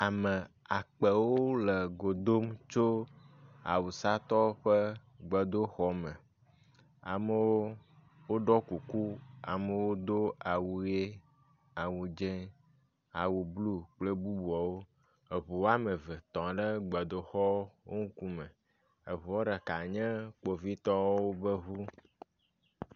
Ame akpewo le go dom tso awusatɔwo ƒe gbedoxɔme. Amewo ɖɔ kuku, amewo do awu ʋi, awu dze, awu blu kple bubuawo. Eŋu wɔme eve tɔ ɖe gbedoxɔwo ŋku me. Eŋua ɖeka nye kpovitɔwo ƒe ŋu.